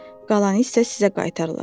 Qalanı isə sizə qaytarılacaq.